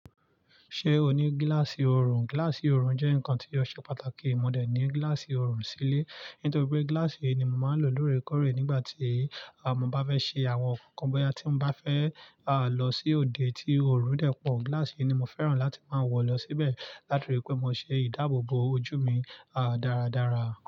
Ṣé o ní gíláàsì oorun? Gíláàsì oorun jẹ́ nǹkan tí ó ṣe pàtàkì. Mò dẹ̀ ní gíláàsì oorun sílé, nítorí pé gíláàsì yìí ni mo máa ń lò lóòrèkóòrè nígbà tí a mo bá fẹ́ ṣe àwọn nǹkan, bóyá tí mo bá fẹ́ lọ sí òde tí oorun dẹ̀ pọ̀. Gíláàsì yìí ni mo fẹ́ràn láti máa wọ̀ lọ síbẹ̀, látòrí pé mo ṣe ìdáàbòbò ojú mi dáradára.